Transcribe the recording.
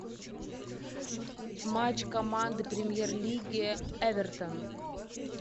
матч команды премьер лиги эвертон